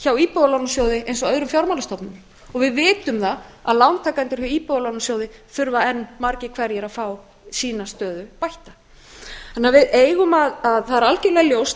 hjá íbúðalánasjóði eins og öðrum fjármálastofnunum og við vitum það að lántakendur hjá íbúðalánasjóði þurfa enn margir hverjir að fá sína stöðu bætta þannig að það er algjörlega ljóst